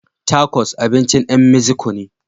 Takos abincin ƴan Meziko ne.